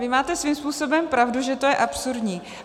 Vy máte svým způsobem pravdu, že to je absurdní.